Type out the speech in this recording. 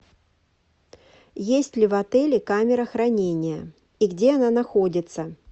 есть ли в отеле камера хранения и где она находится